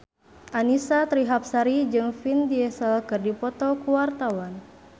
Annisa Trihapsari jeung Vin Diesel keur dipoto ku wartawan